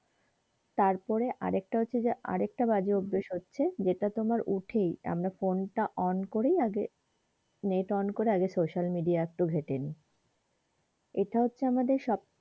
তারপরে আরেকটা হচ্ছে যে আরেকটা'বাজে অভ্যেস হচ্ছে যেইটা তোমার উঠেই আমরা phone তা on করি আগে net on করে আগে social media তা আগে একটু ঘেটে নি এইটা হচ্ছে আমাদের সব,